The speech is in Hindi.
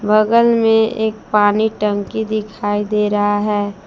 बगल में एक पानी टंकी दिखाई दे रहा है।